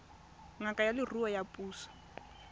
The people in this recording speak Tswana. ngaka ya leruo ya puso